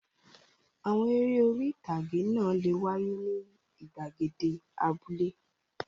Àwọn eré orí-ìtàgé náà le wáyé ní ìgbàgede abúlé.